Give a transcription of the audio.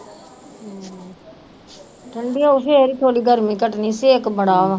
ਠੰਢੀ ਹੋਊ ਫਿਰ ਹੀ ਥੋੜ੍ਹੀ ਗਰਮੀ ਘੱਟਣੀ ਛੇਕ ਬੜਾ ਵਾ।